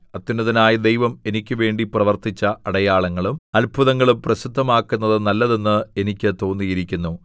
അത്യുന്നതനായ ദൈവം എനിക്കുവേണ്ടി പ്രവർത്തിച്ച അടയാളങ്ങളും അത്ഭുതങ്ങളും പ്രസിദ്ധമാക്കുന്നത് നല്ലതെന്ന് എനിക്ക് തോന്നിയിരിക്കുന്നു